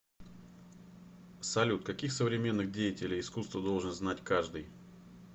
салют каких современных деятелей искусства должен знать каждый